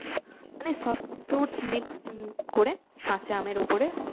মানে সব mixed করে কাঁচা আম এর উপরে